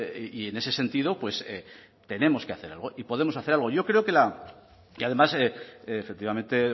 y en ese sentido pues tenemos que hacer algo y podemos hacer algo yo creo que además efectivamente